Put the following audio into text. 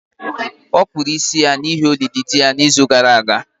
Ọ kpụrụ isi ya n’ihi olili di ya n’izu gara aga.